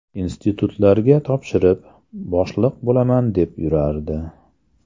Institutlarga topshirib, boshliq bo‘laman deb yurardi.